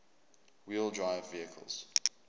wheel drive vehicles